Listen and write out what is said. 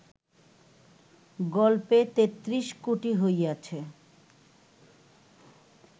গল্পে তেত্রিশ কোটি হইয়াছে